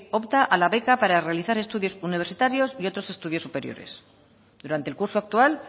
opta a la beca para realizar estudios universitarios y otros estudios superiores durante el curso actual